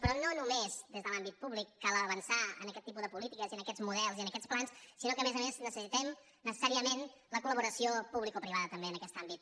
però no només des de l’àmbit públic cal avançar en aquest tipus de polítiques i en aquests models i en aquests plans sinó que a més a més necessitem necessàriament la collaboració publicoprivada en aquest àmbit